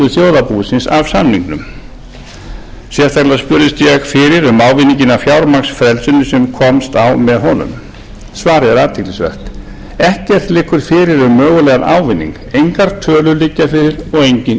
þjóðarbúsins af samningnum sérstaklega spurðist ég fyrir um ávinninginn af fjármagnsfrelsinu sem komst á með honum svarið er athyglisvert ekkert liggur fyrir um mögulegan ávinning engar tölur liggja fyrir og engin